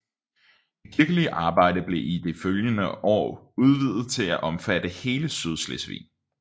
Det kirkelige arbejde blev i de følgende år udvidet til at omfatte hele Sydslesvig